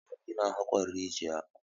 Samari na haƙon rijiya.